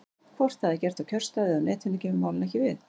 Hvort það er gert á kjörstað eða á Netinu kemur málinu ekki við.